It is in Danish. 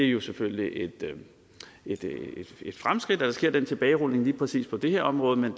jo selvfølgelig et fremskridt at der sker den tilbagerulning lige præcis på det her område men